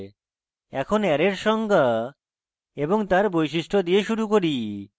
এখন array এর সংজ্ঞা এবং তার বৈশিষ্ট্য দিয়ে শুরু করি